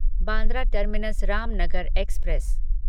Bandra terminus Ramnagar express